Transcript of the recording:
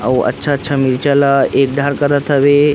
अउ अच्छा अच्छा मिर्चा ला एक डाहर करात हवे।